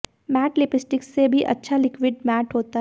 mat lipstick से भी अच्छा लिक्विड मैट होता है